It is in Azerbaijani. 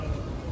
Hopp!